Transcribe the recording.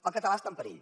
el català està en perill